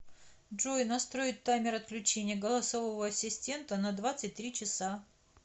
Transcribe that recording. джой настроить таймер отключения голосового ассистента на двадцать три часа